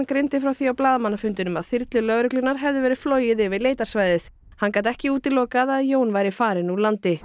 greindi frá því á blaðamannafundinum að þyrlu lögreglunnar hefði verið flogið yfir leitarsvæðið hann gat ekki útilokað að Jón væri farinn úr landi